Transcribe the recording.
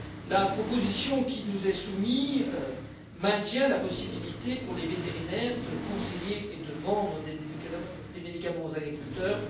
La proposition qui nous est soumise maintient la possibilité pour les vétérinaires de conseiller et de vendre des médicaments aux agriculteurs.